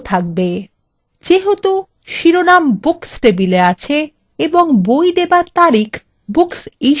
যেহেতু শিরোনাম books table আছে এবং বই দেবার তারিখ booksissued table আছে তাই